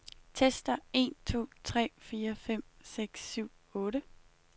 Tester en to tre fire fem seks syv otte.